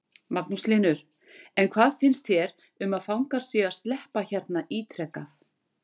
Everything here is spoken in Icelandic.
Magnús Hlynur: En hvað finnst þér um að fangar séu að sleppa hérna ítrekað?